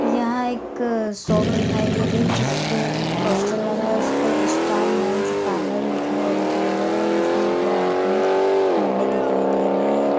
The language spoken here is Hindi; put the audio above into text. यहाँ एक शॉप दिखाई दे रही है जिसपे एक पोस्टर लगा हे | उसपे स्टार मेंस पार्लर लिखा हुआ दिखाई दे रहा है जिसमे दो आदमी मंडे दिखाई दे रहे है ।